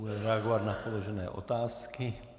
Bude reagovat na předložené otázky.